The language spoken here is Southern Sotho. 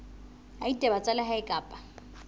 ya ditaba tsa lehae kapa